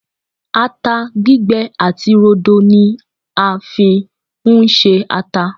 atta gbigbe ati rodo ni a fi n ṣe ata